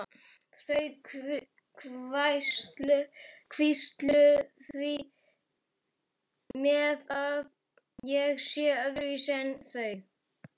Þau hvísla því með að ég sé öðruvísi en þau.